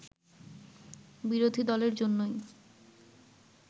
বিরোধী দলের জন্যই